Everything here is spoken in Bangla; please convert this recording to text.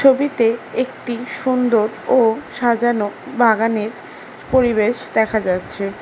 ছবিতে একটি সুন্দর ও সাজানো বাগানের পরিবেশ দেখা যাচ্ছে।